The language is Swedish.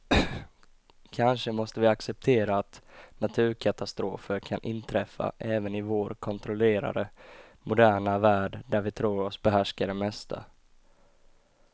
Kanske måste vi acceptera att naturkatastrofer kan inträffa även i vår kontrollerade, moderna värld där vi tror oss behärska det mesta.